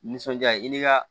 Nisɔndiya ye i ni ka